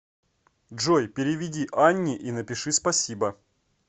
джой переведи анне и напиши спасибо